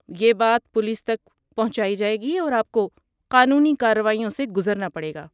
یہ بات پولیس تک پہنچائی جائے گی اور آپ کو قانونی کارروائیوں سے گزرنا پڑے گا۔